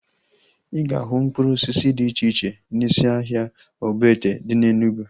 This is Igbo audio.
Ị ga-ahụ mkpụrụ osisi dị iche iche n'isi ahịa Ogbete dị na Enugwu